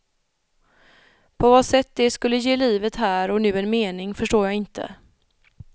På vad sätt det skulle ge livet här och nu en mening förstår jag inte.